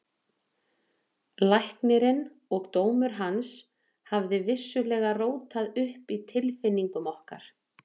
Læknirinn og dómur hans hafði vissulega rótað upp í tilfinningum okkar.